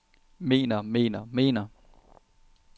mener mener mener